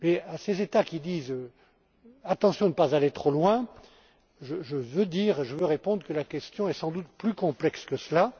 À ces États qui disent Attention de ne pas aller trop loin, je veux dire, et je veux répondre, que la question est sans doute plus complexe que cela!